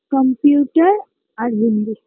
computer আর হিন্দি